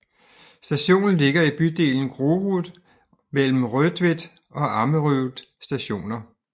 Stationen ligger i bydelen Grorud mellem Rødtvet og Ammerud Stationer